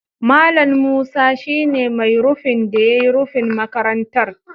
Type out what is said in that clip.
Mallam Musa shi ne mai rufin da ya yi rufin makarantar.